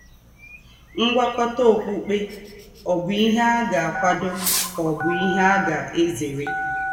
Ngwákọ̀tà ọ́kpukpè ọ̀ bụ̀ ìhè à gà - àkwàdò kà ọ̀ bụ̀ ìhè à gà - èzèrè?